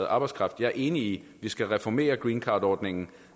arbejdskraft jeg er enig i at vi skal reformere greencardordningen